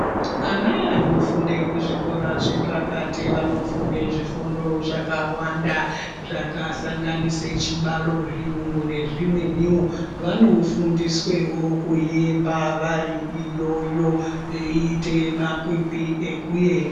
Ana naofunda kuzvikora zvepakati vanofunda zvifundo zvakawanda zvakasanganise chibalo ,zviyungu nezvimweniwo ,vanofundiswewo kuyemba vari iyoyo veiita makwikwi ekuemba.